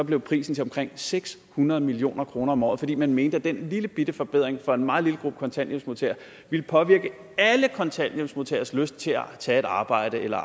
blev prisen til omkring seks hundrede million kroner om året fordi man mente at den lillebitte forbedring for en meget lille gruppe kontanthjælpsmodtagere ville påvirke alle kontanthjælpsmodtageres lyst til at tage et arbejde eller